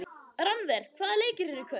Rannver, hvaða leikir eru í kvöld?